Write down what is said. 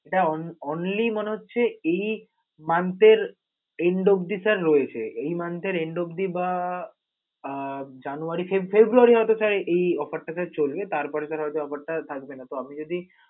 এটা on~ only মনে হচ্ছে, এই month এর end অব্দি রয়েছে sir এই month এর end অব্দি বা জানুয়ারি ফেব~ ফেব্রুয়ারি হয়ত sir এই offer টা চলবে, তারপরে হয়ত sir এই offer টা আর থাকবে না. তো আপনি যদি